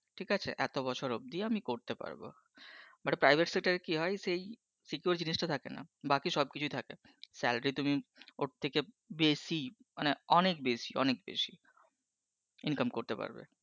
ঠিক আছে। এত বছর অবধি আমি করতে পারবো, মানে private sector তে কী হয়, সেই secure জিনিসটা থাকেনা। বাকি সবকিছু থাকে। salary তুমি ওর থেকে বেশি মানে অনেক বেশি অনেক বেশি। income করতে পারবে।